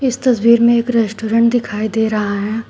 इस तस्वीर में एक रेस्टोरेंट दिखाई दे रहा है।